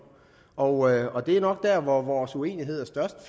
og og det er nok der hvor vores uenighed er størst